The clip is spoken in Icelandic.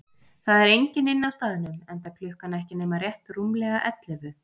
Það er enginn inni á staðnum, enda klukkan ekki nema rétt rúmlega ellefu.